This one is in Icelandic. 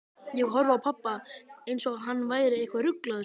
Ég horfði á pabba, einsog hann væri eitthvað ruglaður.